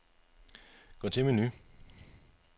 Gå til menu.